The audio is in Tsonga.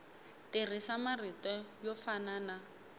tirhisa marito yo fana na